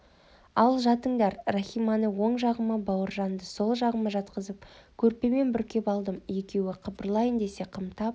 ал жатыңдар рахиманы оң жағыма бауыржаңды сол жағыма жатқызып көрпемен бүркеп алдым екеуі қыбырлайын десе қымтап